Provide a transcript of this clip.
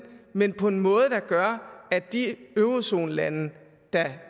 men på en måde der gør at de eurozonelande der